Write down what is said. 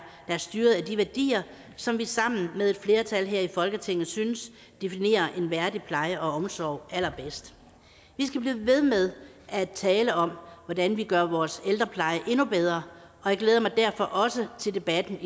der er styret af de værdier som vi sammen med et flertal her i folketinget synes definerer en værdig pleje og omsorg allerbedst vi skal blive ved med at tale om hvordan vi gør vores ældrepleje endnu bedre og jeg glæder mig derfor også til debatten